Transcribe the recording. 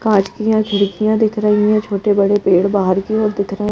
काँचकियाँ खिड़खियाँ दिख रही है छोटे बड़े पेड़ बाहर की ओर दिख रहे हैं।